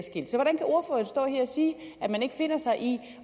sige at man ikke finder sig i det